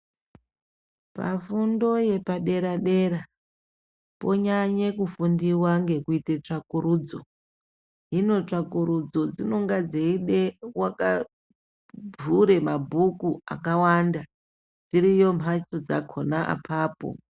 Pafundo yepadera dera ponyanya kufunda nekuita tsvakurudzo hino tsvakurudzo ndipo peivhura mabhuku akawanda dziriyo mbatso dzakawanda.